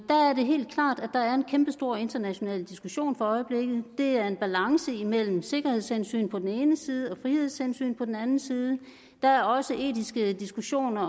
er helt klart at der er en kæmpestor international diskussion for øjeblikket det er en balance imellem sikkerhedshensyn på den ene side og frihedshensyn på den anden side der er også etiske diskussioner